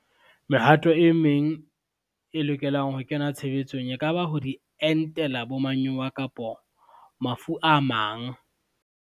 Mehato e meng, e lokelang ho kena tshebetsong, e ka ba ho di entela bo manyowa, kapo mafu a mang.